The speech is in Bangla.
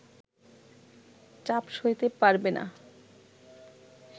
চাপ সইতে পারবে না